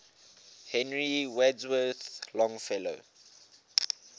henry wadsworth longfellow